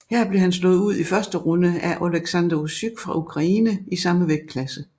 Her blev han slået ud i første runde af Oleksandr Usyk fra Ukraine i samme vægtklasse